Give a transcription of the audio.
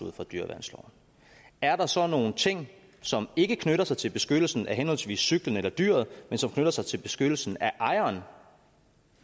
ud fra dyreværnsloven er der så nogle ting som ikke knytter sig til beskyttelsen af henholdsvis cyklen og dyret men som knytter sig til beskyttelsen af ejeren